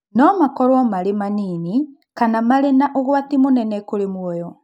No makorũo marĩ manini kana marĩ na ũgwati mũnene kũrĩ mũoyo.